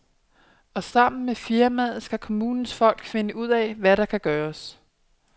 Og sammen med firmaet skal kommunens folk finde ud af, hvad der kan gøres.